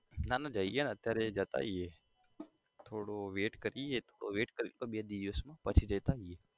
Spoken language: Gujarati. ના ના જઈએ અત્યારે જતા આઇએ થોડું wait કરીએ wait કરીએ બે દિવસ પછી જતા આઇએ